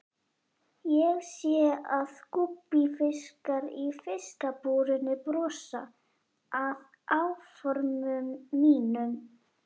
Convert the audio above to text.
Ég sé að gúbbífiskarnir í fiskabúrinu brosa að áformum mínum.